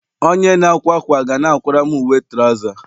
Onye na-akwa akwa ga na-akwara m uwe trouza